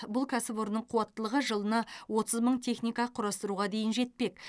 бұл кәсіпорынның қуаттылығы жылына отыз мың техника құрастыруға дейін жетпек